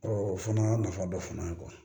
o fana nafa dɔ fana ye